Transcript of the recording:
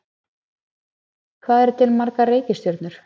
Hvað eru til margar reikistjörnur?